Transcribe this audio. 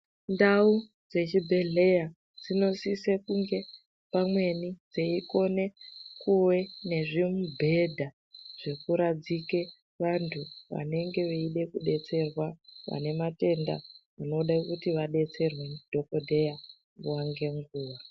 Ndau dzechibhehleya dzinosise kunge pamweni dzeikone kuve nezvimubhedha zvekuradzike vantu vanenge veide kubetserwa vane matenda anoda kuti vabetserwe ndidhokodheya nguva ngenguva.